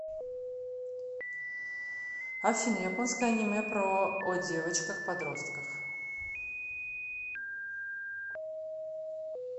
афина японское аниме про о девочках подростках